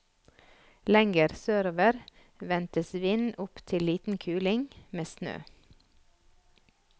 Lenger sørover ventes vind opptil liten kuling, med snø.